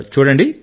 చూడండి